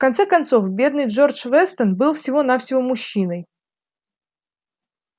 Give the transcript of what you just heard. в конце концов бедный джордж вестон был всего-навсего мужчиной